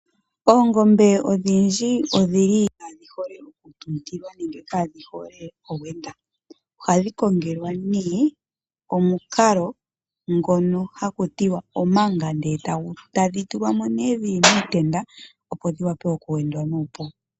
Oongombe odhindji odhi li kaadhi hole okutuntilwa nenge kaadhi hole owendwa oha dhi kongelwa ne omukalo ngono haku tiwa omanga ndele eta dhi tulwamo nee dhili miitenda opo dhi wape okuwendwa nuupu.